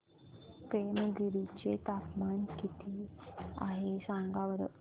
पेमगिरी चे तापमान किती आहे सांगा बरं